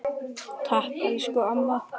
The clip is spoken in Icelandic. Enn hefur ekkert gerst.